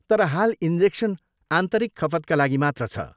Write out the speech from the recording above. तर, हाल, इन्जेक्सन आन्तरिक खपतका लागि मात्र छ।